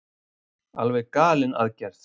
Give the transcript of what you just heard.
Alveg galin aðgerð